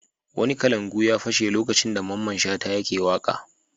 Wani kalangu ya fashe lokacin da Mamman Shata yake waƙa.